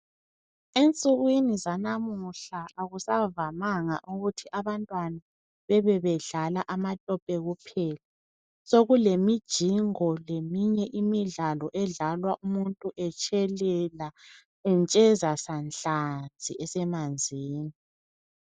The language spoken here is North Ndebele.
Ensukwini zanamuhla akusavamanga ukuthi abantwana bebe bedlala amatope kuphela. Sokule mijingo leminye imidlalo edlalwa umuntu etshelela entsheza sanhlanzi esemanzini.